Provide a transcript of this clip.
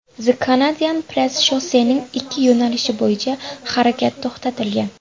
The Canadian Press Shossening ikki yo‘nalishi bo‘yicha harakat to‘xtatilgan.